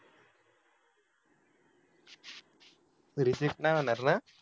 reject नाही होणार ना